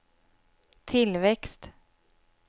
tillväxt